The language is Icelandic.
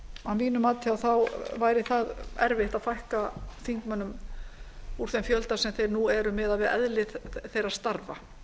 að mínu mati væri erfitt að fækka þingmönnum úr þeim fjölda sem þeir nú eru miðað við eðli þeirra starfa